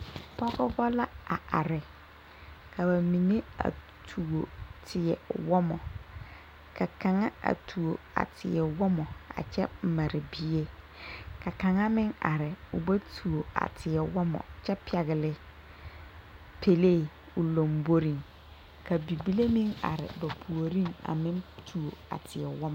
Pɔgeba la a are ka ba mime a tuo tewɔmɔ ka kaŋa a tuo a teɛ wɔmɔ a Kyɛ mare bie ka kaŋa meŋ are o ba tuo a tewɔmɔ kyɛ pɛgle pɛlee o lamboriŋ ka bibile meŋ are ba puoriŋ a meŋ tuo a teɛ wɔmɔ.